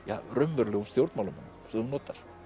raunverulegum stjórnmálamönnum sem þú notar